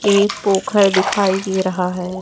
एक पोखर दिखाई दे रहा है।